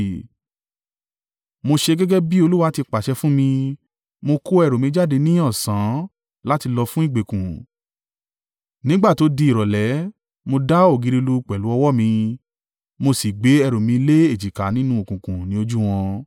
Mo ṣe gẹ́gẹ́ bí Olúwa ti pàṣẹ fún mi. Mo kó ẹrù mi jáde ní ọ̀sán án láti lọ fun ìgbèkùn. Nígbà tó di ìrọ̀lẹ́, mo dá ògiri lu pẹ̀lú ọwọ́ mi. Mo sì gbe ẹrù mi lé èjìká nínú òkùnkùn ní ojú wọn.